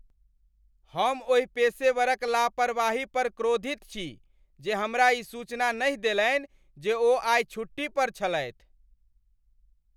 हम ओहि पेशेवरक लापरवाही पर क्रोधित छी जे हमरा ई सूचना नहि देलनि जे ओ आइ छुट्टी पर छलथि।